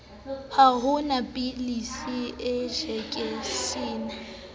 ha ho na pilisi enjekeshene